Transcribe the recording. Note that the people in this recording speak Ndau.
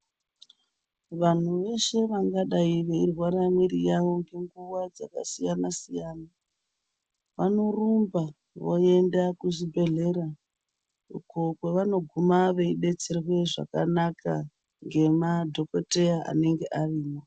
Vanhu veshe vanodaro veirwara mwiri yawo nguwa dzakasiyana siyana vanorumba voenda kuzvibhedhlera uko kwavanoguma vodetserwa zvakanaka nemadhokodheya anenge arimo.